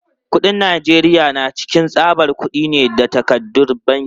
Kuɗin Najeriya na cikin tsabar kudi ne da takardun banki.